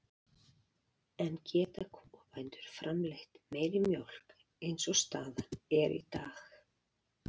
En geta kúabændur framleitt meiri mjólk eins og staðan er í dag?